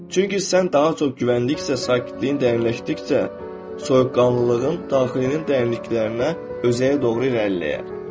Çünki sən daha çox güvəndikcə, sakitliyin dərinləşdikcə, soyuqqanlığın daxilinin dərinliklərinə, özəyə doğru irəliləyər.